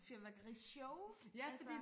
fyrværkerishow altså